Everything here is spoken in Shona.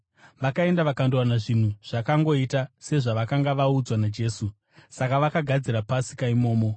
Vakaenda vakandowana zvinhu zvakangoita sezvavakanga vaudzwa naJesu. Saka vakagadzira Pasika imomo.